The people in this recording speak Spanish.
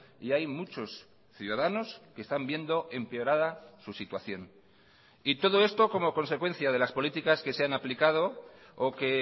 y hay muchos ciudadanos que están viendo empeorada su situación y todo esto como consecuencia de las políticas que se han aplicado o que